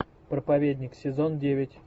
проповедник сезон девять